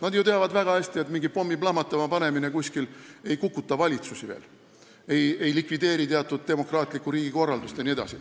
Nad ju teavad väga hästi, et kuskil mingi pommi plahvatama panemine ei kukuta veel valitsusi, ei likvideeri demokraatlikku riigikorraldust jne.